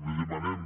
i li demanem